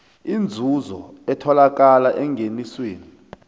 inzuzo etholakala engenisweni